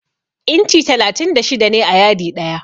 Inci talatin da shida ne a yadi ɗaya.